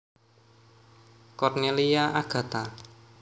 Cornelia Agatha